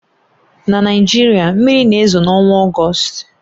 Na Naịjirịa, mmiri na-ezo n'ọnwa Ọgọst